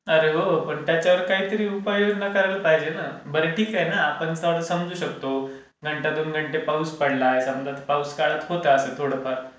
अरे हो पण त्याच्यावर काहीतरी उपाय योजना करायला पाहिजे ना. बरं ठीक आहे ना आपण समजू शकतो, घंटा दोन घंटे पाऊस पडलाय, समजा पाऊस काळात होतं असं थोडं फार.